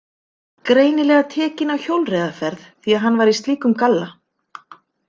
Greinilega tekin á hjólreiðaferð því að hann var í slíkum galla.